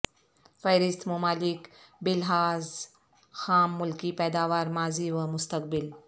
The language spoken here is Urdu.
فہرست ممالک بلحاظ خام ملکی پیداوار ماضی و مستقبل